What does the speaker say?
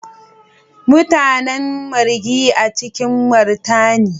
Mutanen Marghi, a cikin martani.